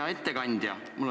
Hea ettekandja!